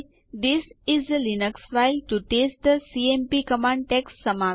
આ આદેશ તમને ડિરેક્ટરીમાં ઉપલબ્ધ ટીએક્સટી ફાઈલો નો રીપોર્ટ તેના કદ સાથે આપશે